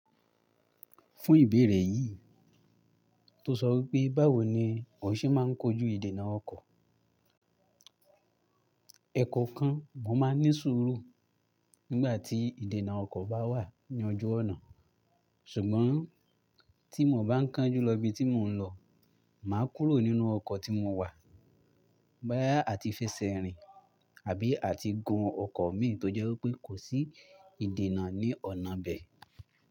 Fún ìbéèrè yìí tó sọ wípé báwo ni o ṣe ma ń kojú ìdènà ọkọ̀. Ẹ̀ẹkan kan mo ma ń ní ṣúrù nígbà tí ìdènà ọkọ̀ bá wà ní ojú ọ̀nà. Ṣùgbọ́n tí mo bá ń kánjú lọ ibi tí mò ń lọ, mà á kúrò nínú ọkọ̀ tí mo wà boyà á ti fi ṣẹrin àbí à ti gun ọkọ̀ mi tó jẹ́ wípé kò sí ìdènà ní ọ̀nà bẹ̀.